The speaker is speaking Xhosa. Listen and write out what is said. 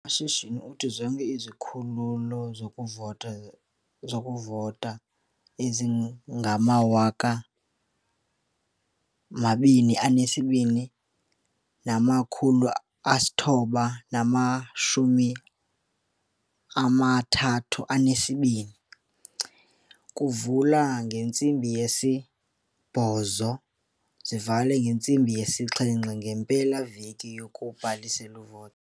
UMashinini uthi zonke izikhululo zokuvota ezingama-22 932 ziza kuvula ngentsimbi ye-08h00 zivale ngeye-17h00 ngempela-veki yokubhalisela ukuvota.